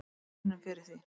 Við unnum fyrir því.